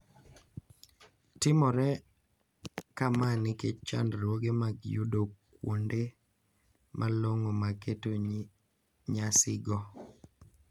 Timore kama nikech chandruoge mag yudo kuonde malong`o mag keto nyasigo.